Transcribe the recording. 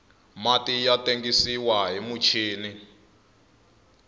mati ya tengisiwa hi michini